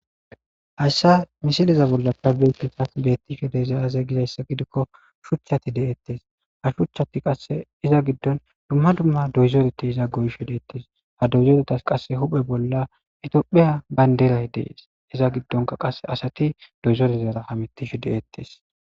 hayssa misileza bolla kabeetinsas betti she de zayaze gizayssa gidikko shuchati de7eettes ha shuchchati qase iza giddon dumma dumma doyzoreti iza goysho deettes ha doyzoretas qasse huphe bolla etiophiya baynderay dees iza giddonka qasse asati doyzorezara hamitishe de7eettes